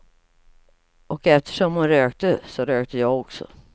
Och eftersom hon rökte, så rökte jag också.